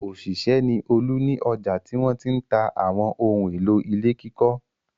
Òṣìṣẹ́ ni Olú ní ọjà tí wọ́n ti ń ta àwọn ohun-èlò ilé kíkọ́.